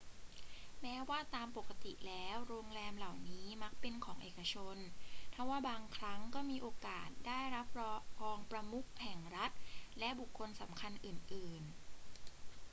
แม้ว่าตามปกติแล้วโรงแรมเหล่านั้นมักเป็นของเอกชน ทว่าบางครั้งก็มีโอกาสได้รับรองประมุขแห่งรัฐและบุคคลสำคัญอื่น ๆ